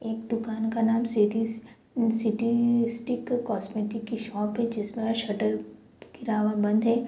एक दुकान का नाम सिटी सिटी स्टिक कॉस्मेटिक की शॉप है जिसमें शटर गिरा हुआ बंद है।